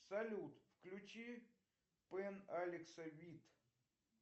салют включи пен алекса вид